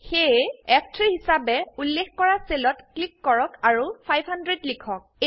সেয়ে ফ3 হিসাবে উল্লেখ কৰা সেলত ক্লিক কৰক আৰু 500 লিখক